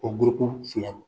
O filaw